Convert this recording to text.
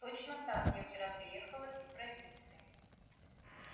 точно так я вчера приехала из провинции